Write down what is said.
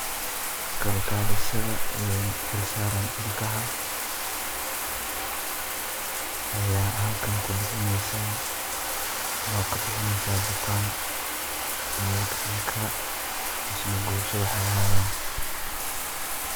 Kal kalisatha ee xeelsaran ilkaha Aya halkan kubixeneysan bukan ilkaha mise kooso waxay ahayan .